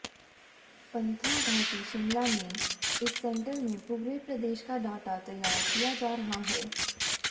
पंथाघाटी शिमला में इस सेंटर में पूरे प्रदेश का डाटा तैयार किया जा रहा है